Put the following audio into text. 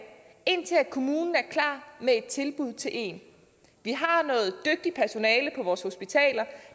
indtil kommunen er klar med et tilbud til en vi har noget dygtigt personale på vores hospitaler